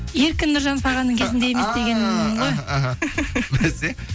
еркін нұржанов ағаның кезінде емес дегенім ғой іхі басе